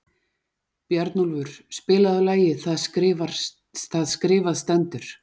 Bjarnólfur, spilaðu lagið „Það skrifað stendur“.